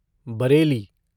Bareilly